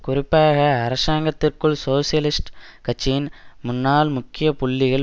குறிப்பாக அரசாங்கத்திற்குள் சோசியலிஸ்ட் கட்சியின் முன்னாள் முக்கிய புள்ளிகள்